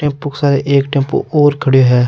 Tempo के साथ एक टेम्पू और खड्यो है।